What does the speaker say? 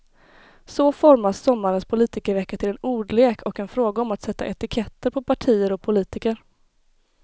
Så formas sommarens politikervecka till en ordlek och en fråga om att sätta etiketter på partier och politiker.